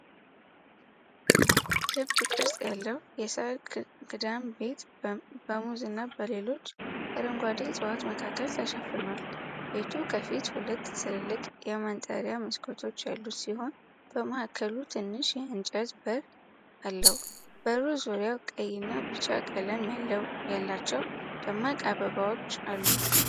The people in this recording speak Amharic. ክብ ቅርጽ ያለው የሳር ክዳን ቤት በሙዝ እና በሌሎች አረንጓዴ ዕፅዋት መካከል ተሸፍኗል። ቤቱ ከፊቱ ሁለት ትልልቅ የማንጠሪያ መስኮቶች ያሉት ሲሆን፣ በማዕከሉ ትንሽ የእንጨት በር አለው። በሩ ዙሪያ ቀይና ቢጫ ቀለም ያላቸው ደማቅ አበባዎች አሉ።